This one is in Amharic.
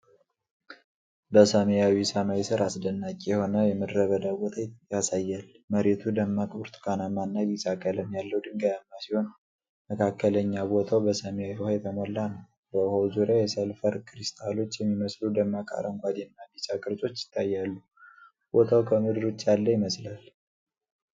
በሰማያዊ ሰማይ ሥር አስደናቂ የሆነ የምድረ በዳ ቦታ ያሳያል። መሬቱ ደማቅ ብርቱካናማና ቢጫ ቀለም ያለው ድንጋያማ ሲሆን፤ መካከለኛ ቦታው በሰማያዊ ውሃ የተሞላ ነው። በውሃው ዙሪያ የሰልፈር ክሪስታሎች የሚመስሉ ደማቅ አረንጓዴና ቢጫ ቅርጾች ይታያሉ። ቦታው ከምድር ውጭ ያለ ይመስላል።